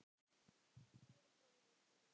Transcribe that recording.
Kæri bróðir og vinur.